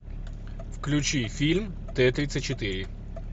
включи фильм т тридцать четыре